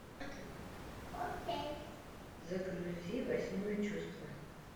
загрузи восьмое чувство